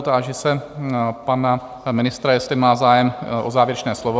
Táži se pana ministra, jestli má zájem o závěrečné slovo?